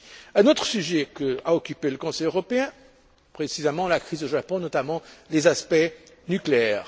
Un autre sujet a occupé le Conseil européen, précisément la crise au Japon et notamment les aspects nucléaires.